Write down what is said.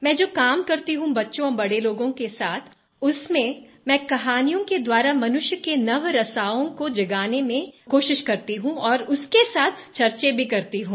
मैं जब काम करती हूँ बच्चे और बड़े लोगों के साथ उसमें मैं कहानियों के द्वारा मनुष्य के नवरसाओं को जगाने में कोशिश करती हूँ और उसके साथ चर्चा भी करती हूँ